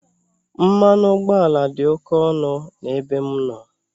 Mmanụ ụgbọala dị oke ọnụ n'ebe m nọ.